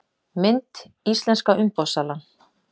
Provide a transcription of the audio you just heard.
Mynd: Íslenska umboðssalan